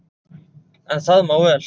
En það má vel,